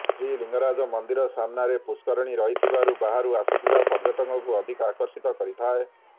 ଶ୍ରୀଲିଙ୍ଗରାଜ ମନ୍ଦିର ସାମ୍ନାରେ ପୁଷ୍କରିଣୀ ରହିଥିବାରୁ ବାହାରୁ ଆସୁଥିବା ପର୍ଯ୍ୟଟକଙ୍କୁ ଅଧିକ ଆକର୍ଷିତ କରିଥାଏ